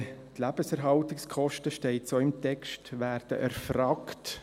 Die Lebenshaltungskosten – so steht es im Text – werden erfragt.